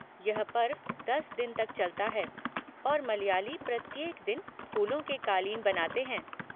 यह पर्व दस दिन तक चलता है और मलयाली प्रत्येक दिन फूलों के क़ालीन बनाते हैं।